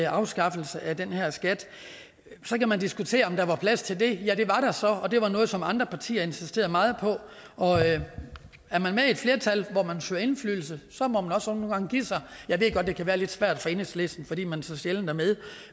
afskaffelse af den her skat så kan man diskutere om der var plads til det ja det var der så og det var noget som andre partier insisterede meget på og er man med i et flertal hvor man søger indflydelse så må man også nogle gange give sig jeg ved godt det kan være lidt svært for enhedslisten fordi man så sjældent er med